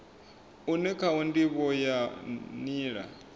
une khawo ndivho ya nila